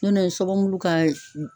Nɔtɛ, nsɔfɔbulu ka ye